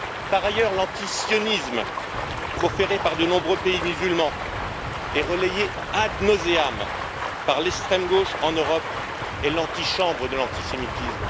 Par ailleurs, l'antisionisme proféré par de nombreux pays musulmans et relayé ad nauseam par l'extrême gauche en Europe est l'antichambre de l'antisémitisme.